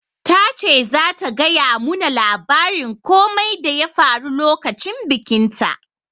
Ta ce zata gaya mu na labarin komai da ya faru lokacin bikin ta